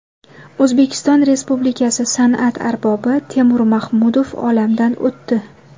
O‘zbekiston Respublikasi san’at arbobi Temur Mahmudov olamdan o‘tdi.